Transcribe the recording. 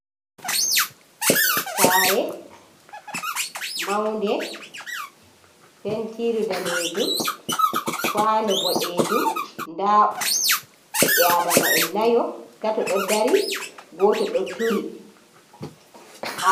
Sare maunde: Pentiru danejum, kwano boɗejum, nda ɓiɓɓe Adama'en nayo. tato ɗo dari, goto do turi.